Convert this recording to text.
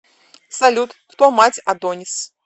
салют кто мать адонис